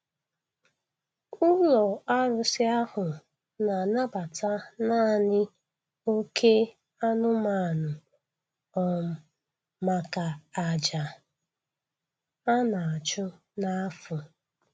Ụlọ arụsị ahụ na-anabata naanị oké anụmanụ um maka àjà a na-achụ na afọ.